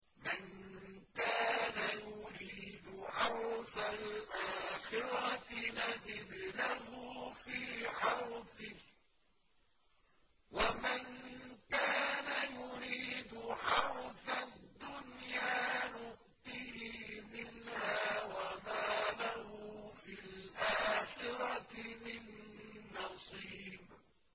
مَن كَانَ يُرِيدُ حَرْثَ الْآخِرَةِ نَزِدْ لَهُ فِي حَرْثِهِ ۖ وَمَن كَانَ يُرِيدُ حَرْثَ الدُّنْيَا نُؤْتِهِ مِنْهَا وَمَا لَهُ فِي الْآخِرَةِ مِن نَّصِيبٍ